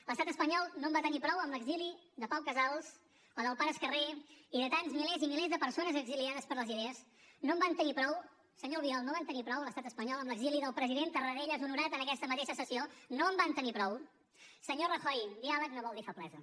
l’estat espanyol no en va tenir prou amb l’exili de pau casals o del pare escarré i de tants milers i milers de persones exiliades per les idees no en van tenir prou senyor albiol no en va tenir prou l’estat espanyol amb l’exili del president tarradellas honorat en aquesta mateixa sessió no en van tenir prou senyor rajoy diàleg no vol dir feblesa